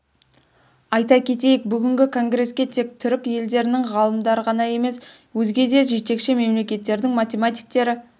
айта кетейік бүгінгі конгреске тек түрік елдерінің ғалымдары ғана емес өзге де жетекші мемлекеттердің математиктері